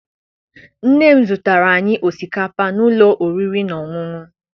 Nne m zụtaara anyị osikapa n'ụlọ oriri na ọṅụṅụ.